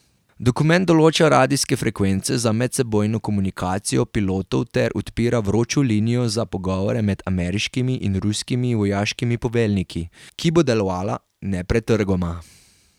Dokument določa radijske frekvence za medsebojno komunikacijo pilotov ter odpira vročo linijo za pogovore med ameriškimi in ruskimi vojaškimi poveljniki, ki bo delovala nepretrgoma.